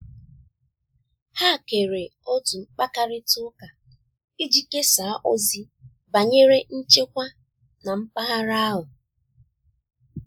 ha kere otu mkpakarita uka iji kesaa ozi banyere nchekwa na mpaghara ahụ